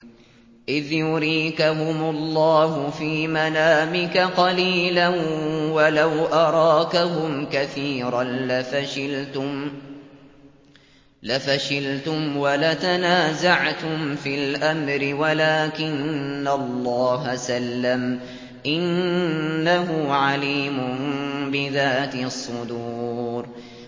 إِذْ يُرِيكَهُمُ اللَّهُ فِي مَنَامِكَ قَلِيلًا ۖ وَلَوْ أَرَاكَهُمْ كَثِيرًا لَّفَشِلْتُمْ وَلَتَنَازَعْتُمْ فِي الْأَمْرِ وَلَٰكِنَّ اللَّهَ سَلَّمَ ۗ إِنَّهُ عَلِيمٌ بِذَاتِ الصُّدُورِ